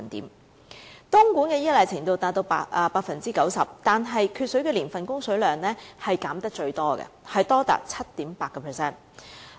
東莞對東江水的依賴程度達到 90%， 但缺水年份的供水量被削減得最多，達到 7.8%。